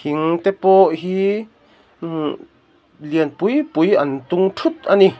thing te pawh hi ummh lian pui pui an tung thut a ni.